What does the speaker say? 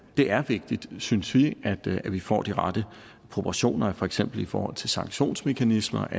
er vigtigt synes vi at vi får de rette proportioner for eksempel i forhold til sanktionsmekanismer